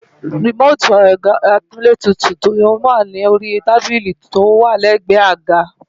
rìmóòtì ẹ̀rọ amúlétutù yẹn wà lórí tábílì tó wà lẹ́gbẹ̀ẹ́ àga